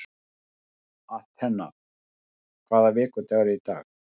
Athena, hvaða vikudagur er í dag?